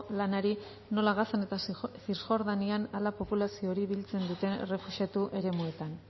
lanari nola gazan eta cirjordanian populazio hori biltzen duten errefuxiatu eremuetan